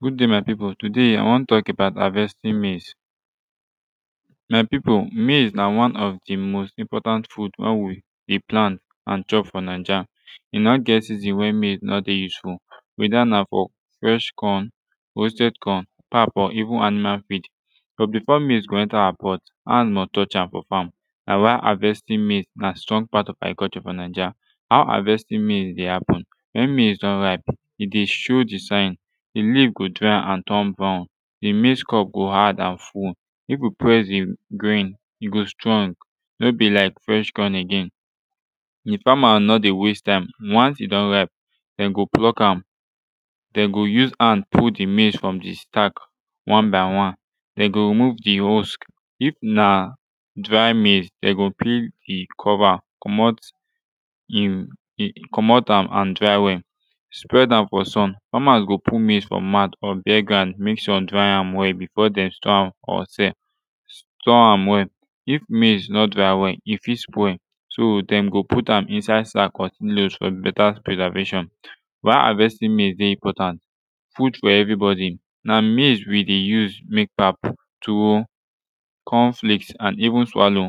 good day my pipu today i wan tok about havestin mez my pipu mez na one of de most important food wey we de plant an chop fo naija e no get season wey mez no dey useful weda na fo fresh corn roasted corn pap or even animal feed but bifo mez go enta awa pot hand must touch am fo fam na why havestin mez na strong part of agriculture fo naija how havestin mez de happen wen mez don ripe e de show de sign de leaf go dry an turn brown de mez cub go hard an full if yu press de grain e go strong no be like fwesh corn again if fama no de waste time once e don ripe dem go pluck am dem go use han pull de mez from de stak stack one by one dem go remove de husk if na dry mez dem go pill de cover comot um comot am an dry wel spread am fo sun famas go put maize fo mouth or bare ground mek sun dry am wel befor dem store am fo sell store am well if mez no dry well e fit spoil so dem go put am inside sack or silos fo beta preservation why havestin maize de important food fo everybodi na maize we de use mek pap tuwo corn flakes an even swalow